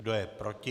Kdo je proti?